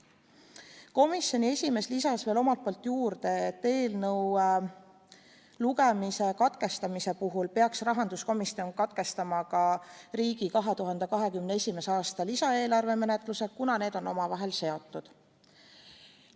Komisjoni esimees lisas omalt poolt juurde, et eelnõu lugemise katkestamise puhul peaks rahanduskomisjon katkestama ka riigi 2021. aasta lisaeelarve menetluse, kuna need on omavahel seotud.